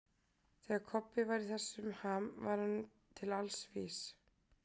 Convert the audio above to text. Þegar Kobbi var í þessum ham var hann til alls vís.